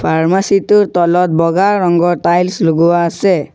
Pharmacy টোৰ তলত বগা ৰঙৰ টাইলছ লগোৱা আছে।